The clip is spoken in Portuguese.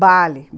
Bale.